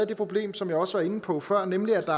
det problem som jeg også var inde på før nemlig at